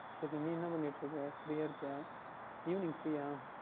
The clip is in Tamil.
சரி நீ என்ன பண்ணிக்கிட்டு இருக்கின்றாய் Free யாக இருக்கீர்களா Evening free அஹ்